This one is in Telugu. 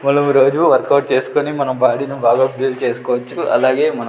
మనం రోజు వర్క్ అవుట్ చేసుకుని మన బాడీని బాగా బిల్డ్ చేసుకోవచ్చు అలాగే మనం--